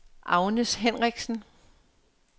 Agnes Henriksen